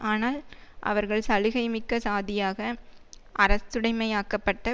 ஆனால் அவர்கள் சலுகை மிக்க சாதியாக அரசுடமையாக்கப்பட்ட